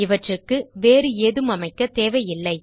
இவற்றுக்கு வேறு ஏதும் அமைக்கத் தேவையில்லை